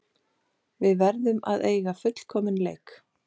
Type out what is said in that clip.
Við verðum að eiga fullkominn leik